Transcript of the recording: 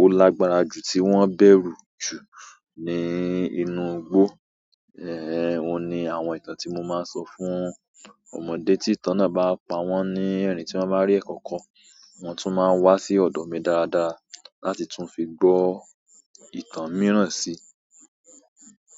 ó lágbára jù tí wọ́n bẹ̀rù jù ní inú igbó. Ehn, òhun ni àwọn ìtàn tí mo máa ń sọ fún ọmọdé tí ìtàn náà bá pa wọ́n ní ẹ̀rìn tí wọ́n bá rí ẹ̀kọ̀kọ̀, wọ́n tún máa wá sí ọ̀dọ̀ mi dáadáa láti tún fi gbọ ìtàn mìíràn sí.